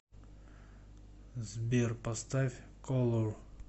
сбер поставь колор